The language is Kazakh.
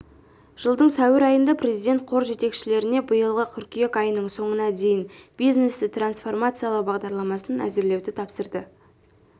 жылдың сәуір айында президент қор жетекшілеріне биылғы қыркүйек айының соңына дейін бизнесті трансформациялау бағдарламасын әзірлеуді тапсырды